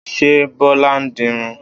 Ṣé Bọlá ń dirun?